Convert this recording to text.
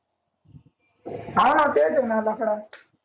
हाव हाव तेच हे ना लफडा